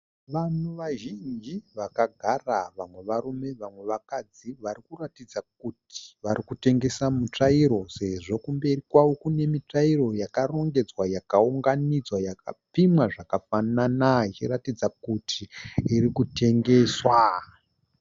Vanhu vazhinji vakagara. Vamwe varume vamwe vakadzi vari kuratidza kuti vari kutengesa mitsvairo, sezvo kumberi kwavo kune mitsvairo yakarongedzwa, yakaunganidzwa, yakapimwa zvakafanana. Zvichiratidza kuti iri kutengeswa.